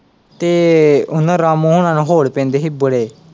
ਤੇ ਉਹਨਾਂ ਰਾਮੋ ਹੋਣਾ ਨੂੰ ਹੋਲ਼ ਪੈਂਦੇ ਸੀ ਬੜੇ।